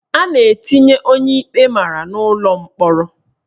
A na-etinye onye ikpe mara n'ụlọ mkpọrọ.